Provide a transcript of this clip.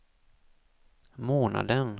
månaden